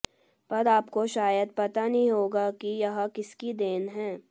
पर आपको शायद पता नहीं होगा कि यह किसकी देन हैं